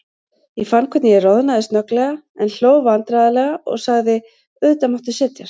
Ég fann hvernig ég roðnaði snögglega, en hló vandræðalega og sagði: Auðvitað máttu setjast.